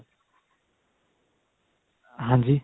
ਹਾਂਜੀ